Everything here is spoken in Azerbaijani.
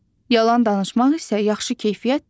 Yalan danışmaq isə yaxşı keyfiyyət deyil.